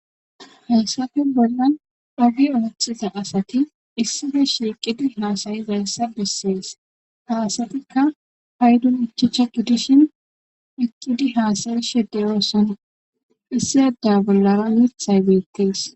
Hayssafe bollan oge oothiza asati issife shiiqidi haasayizayssa bessees ha asatikka paydon ichasha gidishin eqqidi haasa7ishe doosona issi adda bollara uuthay beettees.